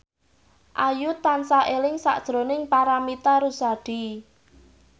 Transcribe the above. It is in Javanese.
Ayu tansah eling sakjroning Paramitha Rusady